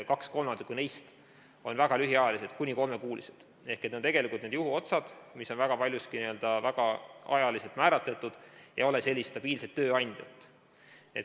Kaks kolmandikku neist on väga lühiajalised, kuni kolmekuulised, ehk need on tegelikult juhuotsad, mis on väga paljuski ajaliselt määratletud ja ei ole stabiilset tööandjat.